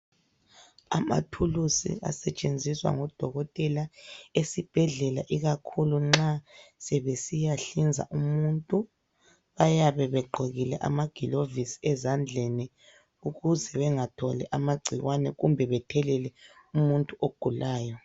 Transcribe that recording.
Amathulusi asetshenziswa ngodokotela esibhedlela ikakhulu nxa sebesiyahlinza umuntu bayabe begqokile ama gilovisi ezandleni ukuze bengatholi amagcikwane kumbe bethelele umuntu ogulayo.